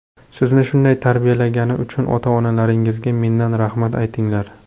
Sizni shunday tarbiyalagani uchun ota-onalaringizga mendan rahmat aytinglar.